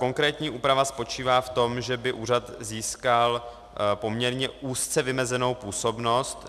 Konkrétní úprava spočívá v tom, že by úřad získal poměrně úzce vymezenou působnost.